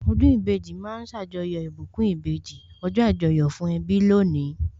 Ọdún ìbejì ma ń ṣàjọyọ̀ ìbùkún ìbejì, ọjọ́ Àjọyọ̀ fún ẹbí lónìí